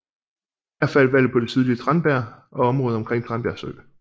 Her faldt valget på det sydlige Tranbjerg og området omkring Tranbjerg Sø